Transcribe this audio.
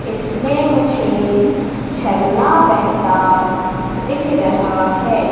इसमें मुझे झरना बहेता दिख रहा है।